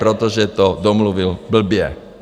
Protože to domluvil blbě.